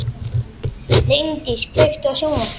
Líndís, kveiktu á sjónvarpinu.